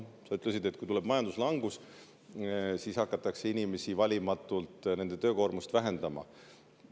Sa ütlesid, et kui tuleb majanduslangus, siis hakatakse valimatult inimeste töökoormust vähendama.